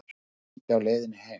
Enn rigndi á leiðinni heim.